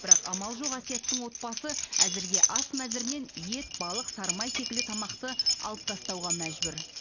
бірақ амал жоқ әсияттың отбасы әзірге ас мәзірінен ет балық сары май секілді тамақты алып тастауға мәжбүр